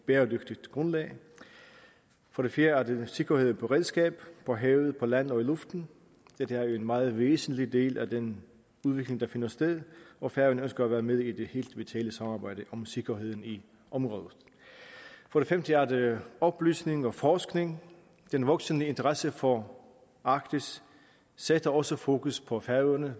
bæredygtigt grundlag for det fjerde er det sikkerhed og beredskab på havet på land og i luften dette er en meget væsentlig del af den udvikling der finder sted og færøerne ønsker at være med i det helt vitale samarbejde om sikkerheden i området for det femte er det oplysning og forskning den voksende interesse for arktis sætter også fokus på færøerne